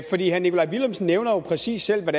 herre nikolaj villumsen nævner jo præcis selv hvad